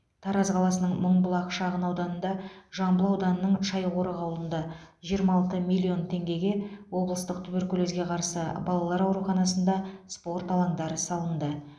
тараз қаласының мыңбұлақ шағын ауданында жамбыл ауданының шайқорық ауылында жиырма алты миллион теңгеге облыстық туберкулезге қарсы балалар ауруханасында спорт алаңдары салынды